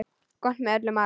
Gott með öllum mat.